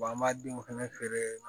an b'a denw fɛnɛ feere